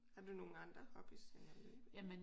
Har du nogle andre hobbies end at løbe?